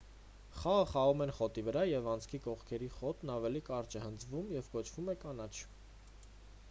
խաղը խաղում են խոտի վրա և անցքի կողքերի խոտն ավելի կարճ է հնձվում և կոչվում է կանաչ